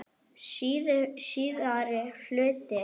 Síðari hluti